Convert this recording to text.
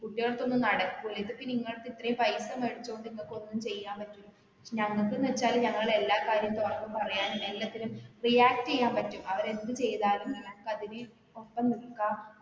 കുട്ടികളടുത്ത് ഒന്നും നടക്കൂല ഇതിപ്പോ നിങ്ങൾക്ക് ഇത്രെയും പൈസ മേടിച്ചോണ്ട് നിങ്ങക്കൊന്നും ചെയ്യാൻ പറ്റില്ല ഞങ്ങക്ക്ന്ന് വെച്ചാല് ഞങ്ങള് എല്ലാ കാര്യം തുറന്ന് പറയാൻ എല്ലത്തിനും react എയ്യാൻ പറ്റും അവര് എന്ത് ചെയ്താലും അതിന് ഒപ്പം നിക്കാം